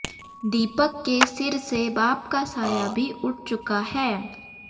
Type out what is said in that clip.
दीपक के सिर से बाप का साया भी उठ चुका है